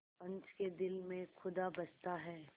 पंच के दिल में खुदा बसता है